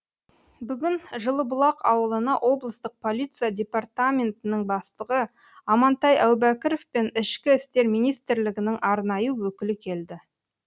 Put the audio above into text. бүгін жылыбұлақ ауылына облыстық полиция департаментінің бастығы амантай әубәкіров пен ішкі істер министрілігінің арнайы өкілі келді